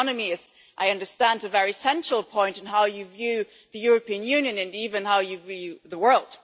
The economy is, I understand, a very central point in how you view the European Union, and even how you view the world.